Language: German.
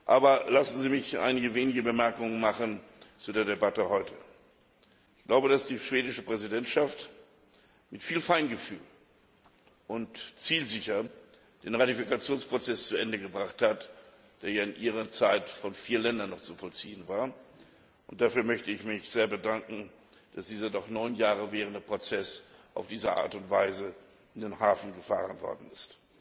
Aber lassen Sie mich einige wenige Bemerkungen zu der Debatte heute machen. Ich glaube, dass die schwedische Präsidentschaft mit viel Feingefühl und zielsicher den Ratifikationsprozess zu Ende gebracht hat, der ja in ihrer Zeit von vier Ländern noch zu vollziehen war. Ich möchte mich sehr dafür bedanken, dass dieser schon neun Jahre währende Prozess auf diese Art und Weise in den Hafen gefahren worden ist.